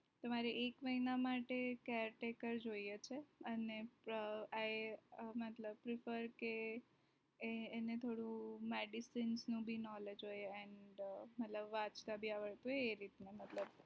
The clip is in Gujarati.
તમારે એક મહિના માટે care taker જોઈએ છે અને અ‌‌‌ મતલબ કે એને થોડુ medicine નું ભી knowledge હોય and મતલબ વાચતા ભી આવડવું જોઈએ એ રીતના મતલબ